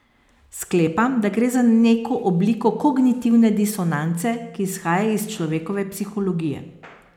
Sklepam, da gre za neko obliko kognitivne disonance, ki izhaja iz človekove psihologije.